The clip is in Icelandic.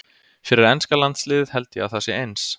Fyrir enska landsliðið held ég að það sé eins.